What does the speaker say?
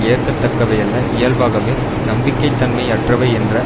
ஏற்கத்தக்கவையல்ல இயல்பாகவே நம்பிக்கை தன்மை அற்றவை என்ற